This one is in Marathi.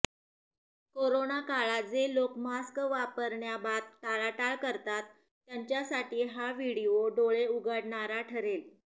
कोरोनाकाळात जे लोक मास्क वापरण्याबात टाळाटाळ करतात त्यांच्यासाठी हा व्हिडीओ डोळे उघडणारा ठरेल